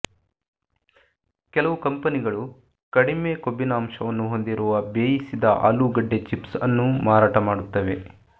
ಕೆಲವು ಕಂಪನಿಗಳು ಕಡಿಮೆ ಕೊಬ್ಬಿನಾಂಶವನ್ನು ಹೊಂದಿರುವ ಬೇಯಿಸಿದ ಆಲೂಗೆಡ್ಡೆ ಚಿಪ್ಸ್ಅನ್ನೂ ಮಾರಾಟ ಮಾಡುತ್ತವೆ